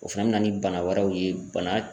O fɛnɛ bɛ na ni bana wɛrɛw ye bana